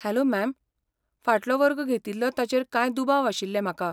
Hello ma'am, फाटलो वर्ग घेतिल्लो ताचेर कांय दुबाव आशिल्ले म्हाका.